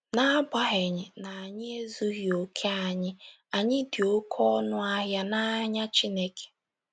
N’agbanyeghị na anyị ezughị okè, anyị, anyị dị oké ọnụ ahịa n’anya Chineke.